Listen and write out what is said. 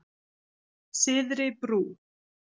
Syðri Brú